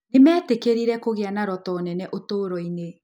Nĩ meetĩkĩrire kũgĩa na roto nene ũtũũro-inĩ.